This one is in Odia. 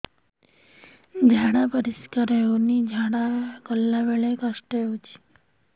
ଝାଡା ପରିସ୍କାର ହେଉନି ଝାଡ଼ା ଗଲା ବେଳେ କଷ୍ଟ ହେଉଚି